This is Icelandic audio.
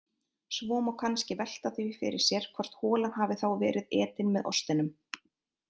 Svo má kannski velta því fyrir sér hvort holan hafi þá verið etin með ostinum.